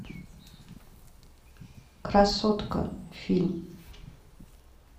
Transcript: красотка фильм